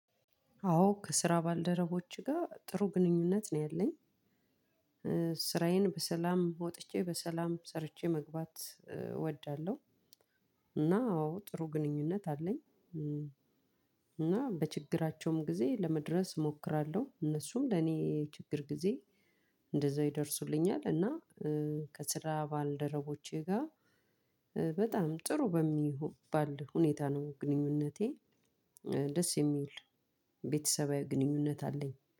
አዎ ከስራ ባልደረቦች ጋር ጥሩ ግንኙነት ነው ያለኝ ስራዬን በሰላም ወጥቼ በሰላም ሰርቼ መግባት እወዳለሁ። እና አዎ ጥሩ ግንኙነት አለኝ። እና በችግራቸውም ጊዜ ለመድረስ እሞክራለሁ። እነሱም ለኔ ችግር ጊዜ እንደዛ ይደርሱልኛል። እና ከስራ ባልደረቦቸ ጋር በጣም ጥሩ በሚባል ሁኔታ ነው ግንኙነቴ። ደስ የሚል ቤተሰባዊ ግንኙነት አለኝ